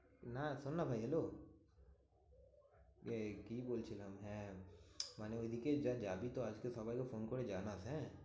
না শোননা ভাই hello এই কি বলছিলাম? হ্যাঁ মানে ওইদিকেই যা যাবি তো আসতে সবাইকে ফোন করে জানাস, হ্যাঁ?